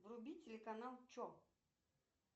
вруби телеканал че